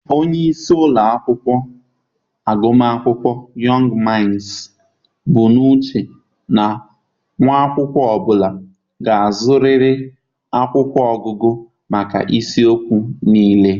Onye isi ụlọ akwụkwọ agụmakwụkwọ Yọngụụ Mainsii bụ n'uche na nwa akwụkwọ ọ bụla ga-azụrịrị akwụkwọ ọgụgụ maka isiokwu niile.